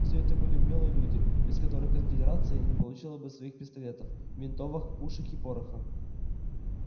всё это были умелые люди без которых конфедерация не получила бы своих пистолетов винтовок пушек и пороха